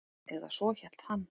Eða svo hélt hann.